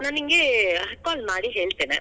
ನಾ ನಿಂಗೆ call ಮಾಡಿ ಹೇಳ್ತೇನೆ.